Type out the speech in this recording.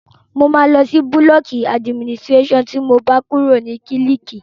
Mo máa lọ sí búlọ̀kù adiminiséṣàn tí mo bá kúrò ní kílíìkì